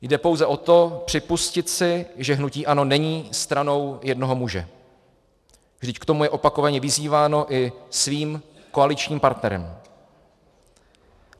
Jde pouze o to, připustit si, že hnutí ANO není stranou jednoho muže, vždyť k tomu je opakovaně vyzýváno i svým koaličním partnerem.